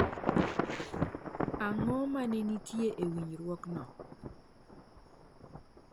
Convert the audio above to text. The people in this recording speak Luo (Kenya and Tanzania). Ang’o ma ne nitie e winjruokno